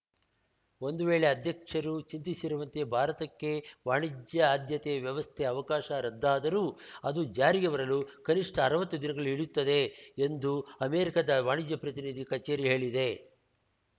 ಒಂದು ವೇಳೆ ಅಧ್ಯಕ್ಷರು ಚಿಂತಿಸಿರುವಂತೆ ಭಾರತಕ್ಕೆ ವಾಣಿಜ್ಯ ಆದ್ಯತೆ ವ್ಯವಸ್ಥೆ ಅವಕಾಶ ರದ್ದಾದರೂ ಅದು ಜಾರಿಗೆ ಬರಲು ಕನಿಷ್ಠ ಅರ್ವತ್ತು ದಿನಗಳು ಹಿಡಿಯುತ್ತದೆ ಎಂದು ಅಮೆರಿಕಾದ ವಾಣಿಜ್ಯ ಪ್ರತಿನಿಧಿ ಕಛೇರಿ ಹೇಳಿದೆ